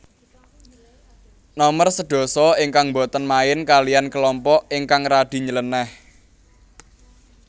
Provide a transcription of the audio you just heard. Nomer sedasa ingkang boten main kaliyan kelompok ingkang radi nylenéh